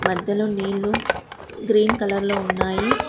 మధ్యలో నీళ్లు green colour లో ఉన్నాయి.